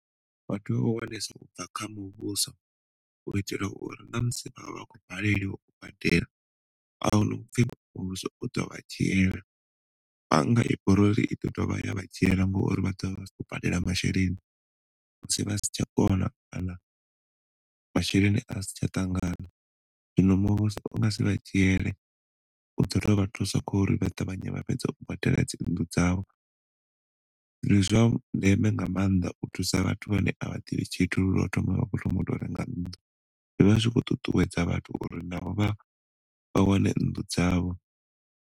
Vha tea u ubva kha muvhuso u itela uri na musi avha akho baleliwa u badela ahuna upfi muvhuso u ḓo vha dzhiela. Bannga i bora uri i ḓo dovha ya vha dzhiela ngori vha ḓovha vha si kho badela masheleni musi vha si tsha kona kana masheleni a si tsha ṱangana. Zwino muvhuso u nga si vha dzhiele u ḓo to vha thusa kho uri vha ṱavhanye u badela dzi nnḓu dzavho. ndi zwa ndeme nga maanḓa u thusa vhathu vhane avha ḓivhi tshithu hu lwa u thoma vha khoto renga nnḓu, zwivha zwi kho ṱuṱuwedza vhathu uri navho vha vha wane nnḓu dzavho.